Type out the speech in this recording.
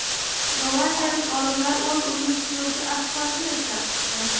Gollandiyalik olimlar o‘z-o‘zini tiklovchi asfaltni ishlab chiqdi.